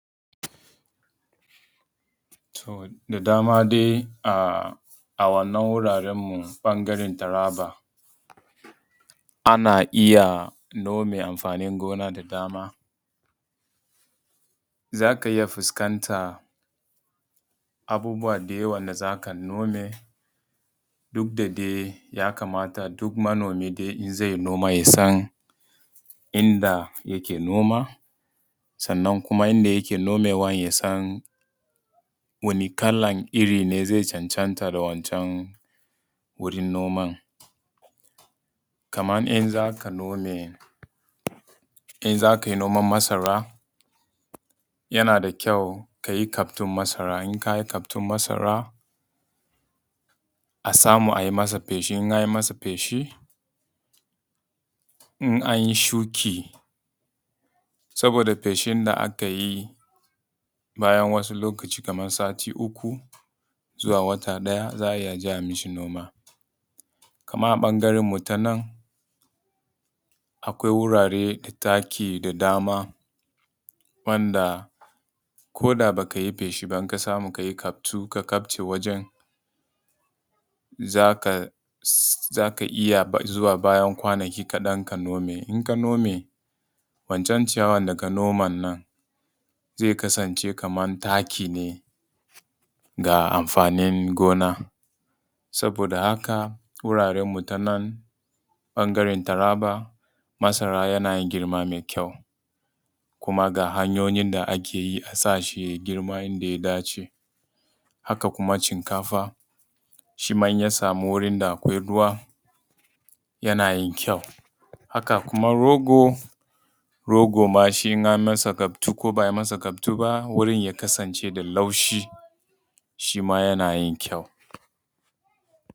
To da dama dai a wannan wuraran mu ɓangaran taraba ana iya nome amfanin gona da dama, za ka iya fuskanta abubuwa dai wanda za ka nome duk da dai ya kamata duk manomi in zai yi noma yasan inda ake noma, sannan kuma inda yake nomewa yasan wani kalan iri ne zai cancanta da wancan wurin noman. Kamar in za kai noman masara yana da kyau ka yi kaftun masara, in kayi kaftun masara a samu a yi masa feshi, in an yi shuki saboda feshin da aka yi bayan wasu lokacin kamar sati uku zuwa wata ɗaya za a iya zuwa a yi ma shi noma. Kamar a ɓangaran mu ta nan akwai wurare da taki da dama wanda ko da ba ka yi feshi ba in ka samu ka yi kaftu ka kafce wajen za ka iya zuwa bayan kwanaki kaɗan ka nome. In ka nome wancan ciyawan da ka noman nan zai kasance kamar taki ne ga amfanin gona saboda haka wuraran mu ta nan ɓangaran taraba masara yanayin girma mai kyau, kuma ga hanyoyi da ake yi a sa shi yayi girma yanda ya dace. Haka kuma shinkafa, shi ma in ya samu wurin da akwai ruwa yana yin kyau, haka kuma rogo in an masa kaftu ko ba a yi masa kaftu ba wurin ya kasance da laushi shi ma yana yin kyau.